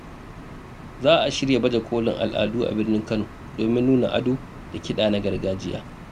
Za a shirya baje kolin al’adu a birnin Kano domin nuna ado da kiɗa na gargajiya.